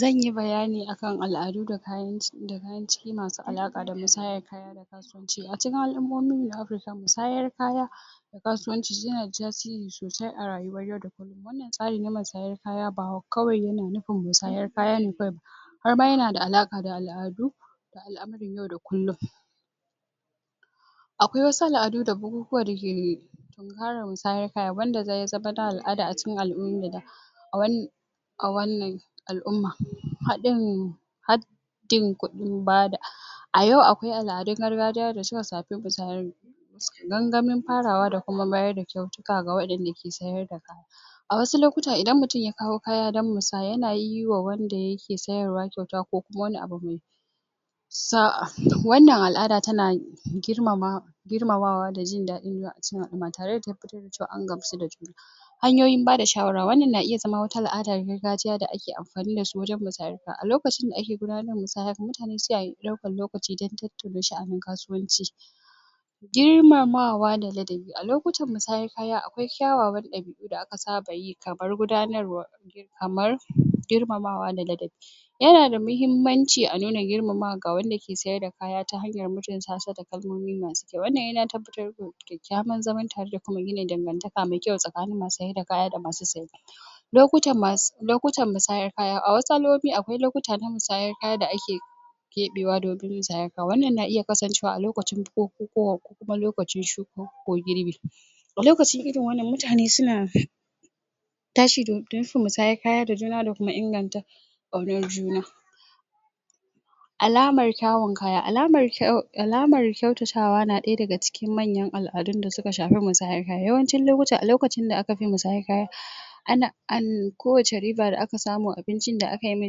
Zan yi bayani akan al'adu da kayan ciki masu alaƙa da musayan kasuwanci a cikin al'ummomi ne ake samun musayar kaya kasuwanci yana da tasiri sosai a rayuwar yau da kullum misalin musayar kaya ba kawai yana nufin musayar kaya ne ba har ma yana da alaƙa da al'adu al'amuran yau da kullum akwai wasu al'adu da bukukuwa suke yi tsarin musayan kaya wanda zai zama na al'ada a cikin al'umma a wannan, a wannan al'umma haɗin haddin kuɗin bada a yau akwai al'adun gargajiya da suka shafi musayar sannan gamin farawa da kuma mayar da kyautuka ga waɗanda ke sayarda a wasu lokutan idan mutum ya kawo kaya dan musaya yana yi wa wanda ya kawo kyauta ko kuma wani abu mai sa a wannan al'ada tana girmamawa da jin daɗi a cikin al'umma tare da tabbatar da an gamsu da hanyoyin ba da shawara wannan na iya zama wata al'ada ta gargajiya da ake amfani da ita wajen musayar kaya,a lokacin da ake gudanar da musaya mutane sukan ɗauki lokaci don tattauna sha'anin kasuwanci girmamawa da ladabi a lokutan musayan kaya akwai kyawawan ɗabi'u da aka saba yi kamar gudanarwa kamar girmamawa da ladabi yana da muhimmanci a nuna girmamawa ga wanda ke sayar ta hanyar mutunta sa da kalmomi masu kyau wannan yana tabbatar da kyakkyawan zaman tare da kuma gina dangantaka mai kyau tsakanin masu saida kaya da masu saya lokutan musayar kaya a wasu al'ummomi akwai lokuta na musaya kaya da ake keɓewa domin musayan kaya wannan na iya kasancewa a lokucin bukukuwa kuma lokacin shuka ko girbi a lokacin irin wannan mutane suna tashi da nufin musayar kaya da juna da kuma inganta ƙaunar juna alamar kyawun kaya alamar kyatatawa na ɗaya daga cikin manyan al'adun da suka shafi musayar kaya yawancin lokuta a lokacin da aka kafe musayar kaya ana an kowace riba aka samu abincin da aka yi wa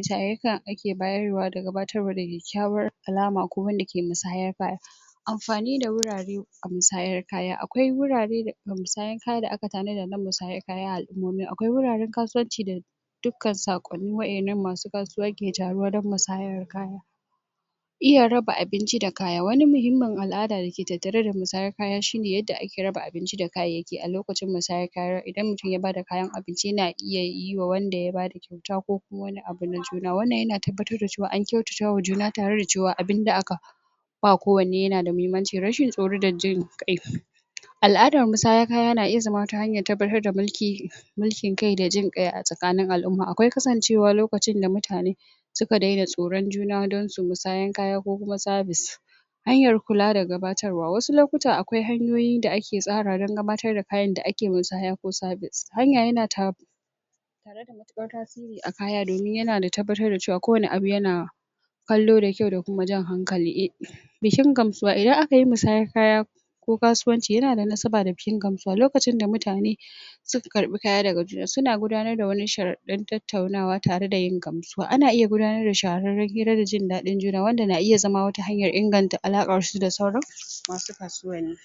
tarurruka ake bayarwa da gabatarwa da kyakkyawar alama ko wanda ke musayar kaya amfani da wurare a musayar kaya akwai wurare da musayar kaya da aka tanada dan musaya kaya a al'ummomi akwai wuraren kasuwanci da dukkan saƙonni waɗannan masu kasuwa ke taruwa dan musaya kaya iya raba abinci da kaya wani muhimmin al'ada dake tattare da musaya kaya shi ne yadda ake raba abinci da kayayyaki a lokacin musayar kaya idan mutum ya bada kayan abinci yana iya yi wanda ya bada kyauta ko wani abu na juna wannan yana tabbatar da cewa an kyatatawa juna tare cewa abin da aka ba kowanne yana da muhimmanci rashin tsoro da jin ƙai al'adar musaya kaya yana iya zama wata hanyar tabbatar da mulki kai da jin ƙai a tsakanin al'umma akwai kasancewa lokacin da mutane suka daina tsoron juna dan su musayan kaya ko service hanyar kula da gabatarwa wasu lokutan akwai hanyoyin da ake tsarawa dan gabatar da kayan da ake musaya ko service hanya yana tasiri a kaya domin yana tabbatar da cewa kowane abu yana kallo da kyau da kuma jan hankali bikin gamsuwa idan aka yi musayan kaya ko kasuwanci yana da nasaba da jin gamsuwa lokacin da mutane suka karɓi kaya daga juna suna gudanar da sharaɗan tattaunawa tare da yin gamsuwa ana iya gudanar da shararren hira da jin daɗin juna wanda na iya zama wata hanyar inganta alaƙarsu da sauran masu kasuwanni